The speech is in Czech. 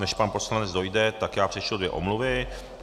Než pan poslanec dojde, tak já přečtu dvě omluvy.